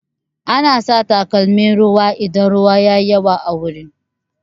Ana sa takalmin ruwa idan ruwa yayi yawa a wuri